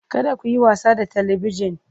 Kada ku yi wasa da Talabijin!